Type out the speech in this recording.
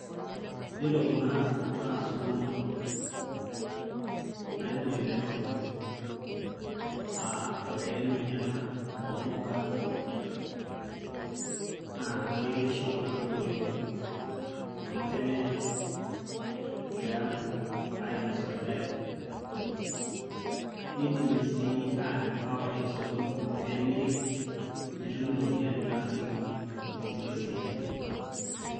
yiolo kuna naa suguma naibung'ita enopeny uh, enkairemoni ena ompuka naa keretisho kuna puka oleng amu kenyae tiang ainosie orgali nidimi sii atim, awaita osokoni nemiri netumi iropiyiani naasieki inkulie siaitin.